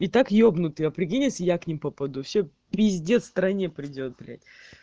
итак ебнутые определись и я к ним по попаду все пиздец стране придёт блять